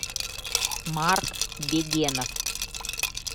марк бегенов